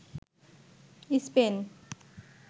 Spain